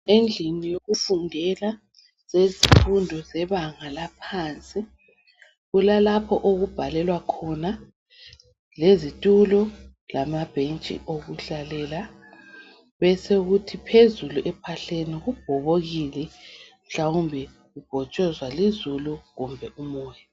Endlini yokufundela zezifundo zebanga laphansi kulalapho okubhalelwa khona lezitulo lamabhentshi okuhlalela besokuthi phezulu ephahleni kubhobokile mhlawumbe kubhotshozwa lizulu kumbe umoya.